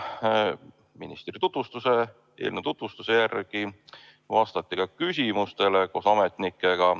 Ministri tutvustuse järel vastas ta koos ametnikega ka küsimustele.